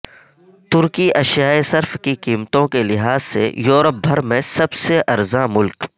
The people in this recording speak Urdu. ترکی اشیائے صرف کی قیمتوں کے لحاظ سے یورپ بھر میں سب سے ارزاں ملک